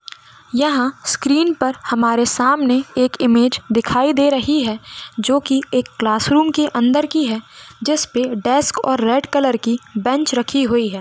यहाँ स्क्रीन पर हमारे सामने एक इमेज दिखाई दे रही है जो की क्लास रूम के अंदर की है जिस पे डेस्क और रेड कलर की बेंच रखी हुई है।